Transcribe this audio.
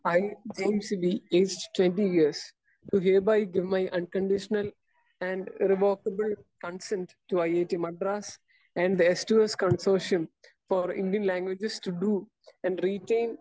speaker 1 I, king Shibi uh age 20 years do hereby give my unconditional irrevocable consent to IIT Madras and the S two S consortium for Indian languages to do and written